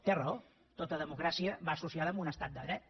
té raó tota democràcia va associada a un estat de dret